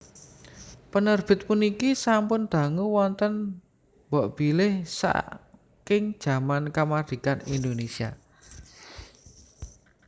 Penerbit puniki sampun dangu wonten mbokbilih saking jaman kamardikan Indonésia